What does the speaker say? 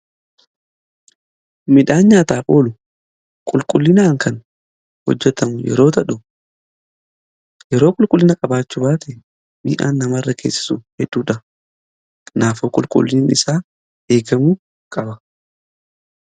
Midhaan nyaataaf oolu qulqullinaan kan hojjetamu yeroo ta'u yeroo qulqullina qabaachuu baate miidhaan nama irra geessisu heedduudha. Kanaafoo qulqullini isaa eegamu qaba.